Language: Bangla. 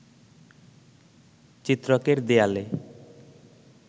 চিত্রকের দেয়ালে